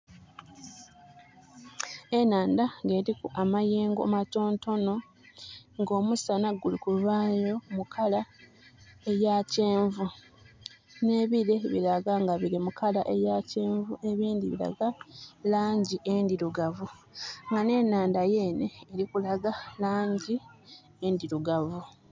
Enhandha nga eliku amayengo matonotono nga omusana guli kuvayo mu kala eya kyenvu nhe bire bilaga nga biri mu kala eya kyenvu ebindhi bilaga langi endhirugavu nga nh'enhandha yenhe eli kulaga langi endhirugavu.